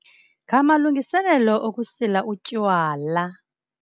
Ngamalungiselelo okusila utywala.